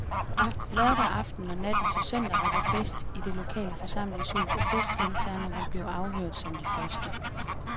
Lørdag aften og natten til søndag var der fest i det lokale forsamlingshus, og festdeltagerne vil blive afhørt som de første.